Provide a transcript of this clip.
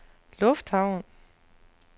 lufthavn